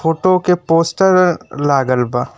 Photo के poster लागल बा।